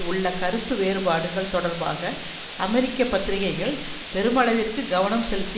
உள்ள கருத்து வேறுபாடுகள் தொடர்பாக அமெரிக்க பத்திரிகைகள் பெருமளவிற்கு கவனம் செலுத்தி